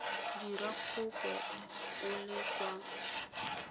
dira kopo o le kwa